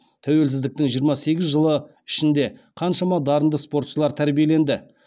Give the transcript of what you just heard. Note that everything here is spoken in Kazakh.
тәуелсіздіктің жиырма сегіз жылы ішінде қаншама дарынды спортшылар тәрбиеленді